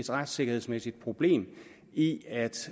retssikkerhedsmæssigt problem i at